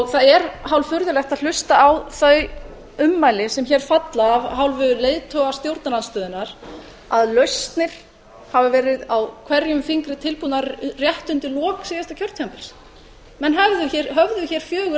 það er hálffurðulegt að hlusta á þau ummæli sem hér falla af hálfu leiðtoga stjórnarandstöðunnar að lausnir hafi verið á hverjum fingri tilbúnar rétt undir lok síðasta kjörtímabils menn höfðu hér fjögur